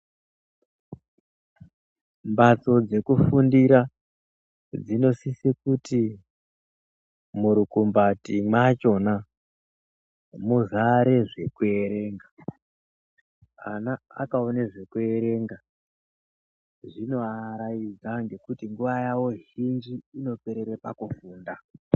Mphatso dekufundira dzinosisa kuti murukumbati machona muzare zvekuerenga, ana akaona zvekuerenga zvinovaaraidza ngekuti nguwa yawo zhinji inoperera pakufunda.